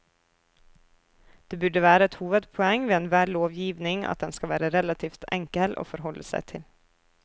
Det burde være et hovedpoeng ved enhver lovgivning at den skal være relativt enkel å forholde seg til.